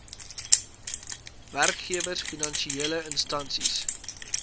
werkgewers finansiele instansies